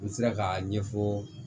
N sera k'a ɲɛfɔ